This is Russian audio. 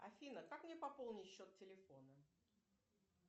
афина как мне пополнить счет телефона